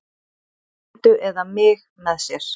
Lindu eða mig með sér.